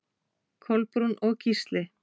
Kolbrún og Gísli.